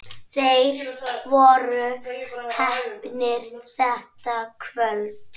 Þeir voru heppnir þetta kvöld.